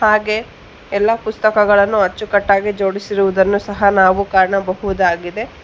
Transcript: ಹಾಗೆ ಎಲ್ಲಾ ಪುಸ್ತಕಗಳನ್ನು ಅಚ್ಚುಕಟ್ಟಾಗಿ ಜೋಡಿಸಿರುವುದನ್ನು ಸಹ ನಾವು ಕಾಣಬಹುದಾಗಿದೆ.